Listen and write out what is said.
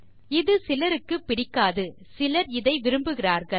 இது சிலருக்கு பிடிக்காது சிலர் இதை விரும்புகிறார்கள்